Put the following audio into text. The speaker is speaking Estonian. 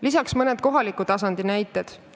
Lisaks on seal mõned kohaliku tasandi näited.